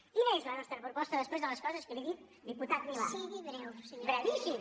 quina és la nostra proposta després de les coses que li he dit diputat milà brevíssim